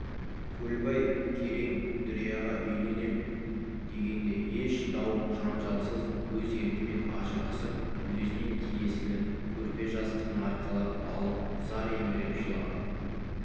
көлбай керең дүрияға үйленем дегенде еш дау-жанжалсыз өз еркімен ажырасып өзіне тиесілі көрпе-жастығын арқалап алып зар еңіреп жылап